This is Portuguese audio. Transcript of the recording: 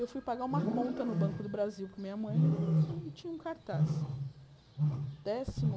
Eu fui pagar uma conta no Banco do Brasil para minha mãe e tinha um cartaz. Décimo